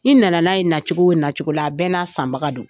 I na na n'a ye nacogo nacogo la a bɛɛ n'a sanbagaw do.